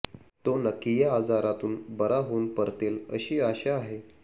तो नक्की या आजारातून बरा होऊन परतेल अशी आशा आहे